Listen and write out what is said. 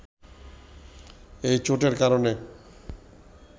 এই চোটের কারণে